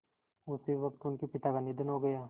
उसी वक़्त उनके पिता का निधन हो गया